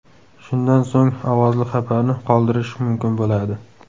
Shundan so‘ng ovozli xabarni qoldirish mumkin bo‘ladi.